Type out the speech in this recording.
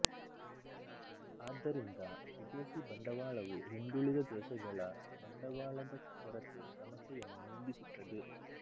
ಆದ್ದರಿಂದ ವಿದೇಶಿ ಬಂಡವಾಳವು ಹಿಂದುಳಿದ ದೇಶಗಳ ಬಂಡವಾಳದ ಕೊರತೆ ಸಮಸ್ಯೆಯನ್ನು ನೀಗಿಸುತ್ತದೆ